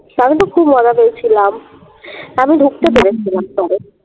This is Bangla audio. আমি তো খুব মজা পেয়েছিলাম আমি ঢুকতে পেরেছিলাম তবে